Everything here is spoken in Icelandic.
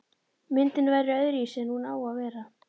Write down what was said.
Myndin verður öðruvísi en hún á að vera.